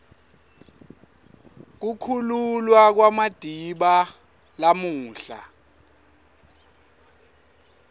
kukhululwa kwamadiba lamuhla